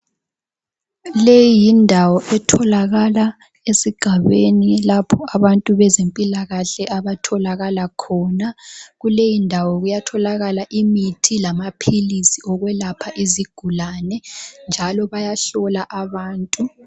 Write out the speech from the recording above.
Leyindawo etholakala esigabeni lapho abantu bezempilakahle abatholakala khona. Kuleyindawo kuyatholakala imithi lamaphilisi okwelapha izigulane njalo bayahlola abantu.